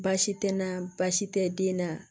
Baasi tɛ na baasi tɛ den na